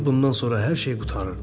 Bundan sonra hər şey qurtarırdı.